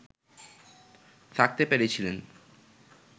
থাকতে পেরেছিলেন